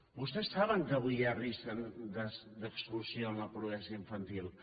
vostès saben que avui hi ha risc d’exclusió en la pobresa infantil